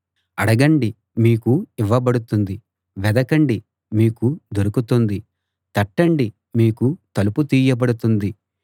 అడగండి మీకు ఇవ్వబడుతుంది వెదకండి మీకు దొరుకుతుంది తట్టండి మీకు తలుపు తీయబడుతుంది